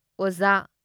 ꯑꯣꯖꯥ